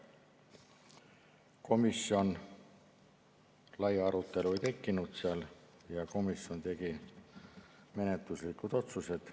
Komisjonis laia arutelu ei tekkinud ja komisjon tegi menetluslikud otsused.